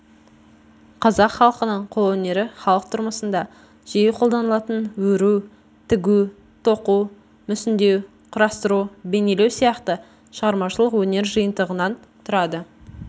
қазақ халқының қолөнері халық тұрмысында жиі қолданылатын өру тігу тоқу мүсіндеу құрастыру бейнелеу сияқты шығармашылық өнер жиынтығынан тұрады